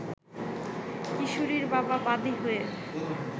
কিশোরীর বাবা বাদি হয়ে